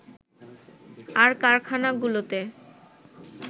আর কারখানাগুলোতে